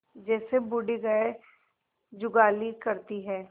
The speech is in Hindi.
जैसे बूढ़ी गाय जुगाली करती है